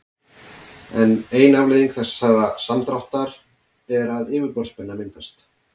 ein afleiðing þessa samdráttar er að yfirborðsspenna myndast